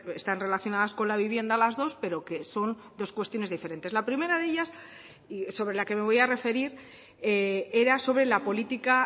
están relacionadas con la vivienda las dos pero que son dos cuestiones diferentes la primera de ellas y sobre la que me voy a referir era sobre la política